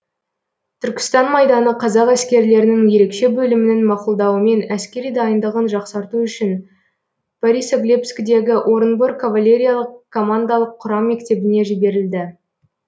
түркістан майданы қазақ әскерлерінің ерекше бөлімінің мақұлдауымен әскери дайындығын жақсарту үшін борисоглебскідегі орынбор кавалериялық командалық құрам мектебіне жіберілді